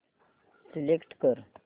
select कर